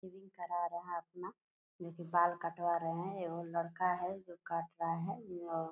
saving करा रहा अपना जो कि बाल कटवा रहे हैं एवं लड़का है जो काट रहा है और --